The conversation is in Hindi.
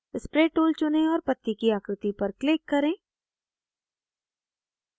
spray tool चुनें और पत्ती की आकृति पर click करें